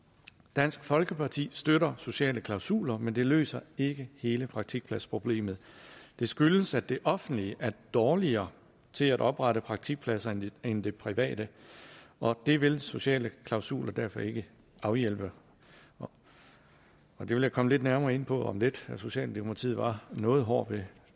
dansk folkeparti støtter sociale klausuler men det løser ikke hele praktikpladsproblemet det skyldes at det offentlige er dårligere til at oprette praktikpladser end det private og det vil sociale klausuler derfor ikke afhjælpe det vil jeg komme lidt nærmere ind på om lidt socialdemokratiet var noget hård ved